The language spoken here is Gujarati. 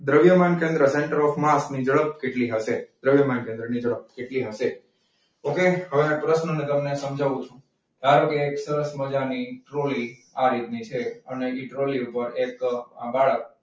દ્રવ્યમાન કેન્દ્ર સેન્ટર ઓફ માસની ઝડપ કેટલી હશે? દ્રવ્યમાન કેન્દ્રની ઝડપ કેટલી હશે? okay હવે ના આ પ્રશ્નને હું તમને સમજાવું છું. ધારો કે, એક સરસ મજાની ટ્રોલી આ રીતની છે અને એ ટ્રોલી ઉપર એક બાળક,